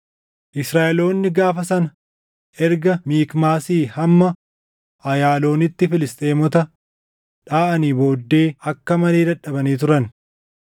Israaʼeloonni gaafa sana erga Mikmaasii hamma Ayaaloonitti Filisxeemota dhaʼanii booddee akka malee dadhabanii turan.